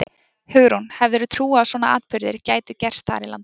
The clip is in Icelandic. Hugrún: Hefðirðu trúað að svona atburðir gætu gerst þar í landi?